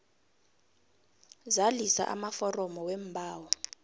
zalisa amaforomo weembawo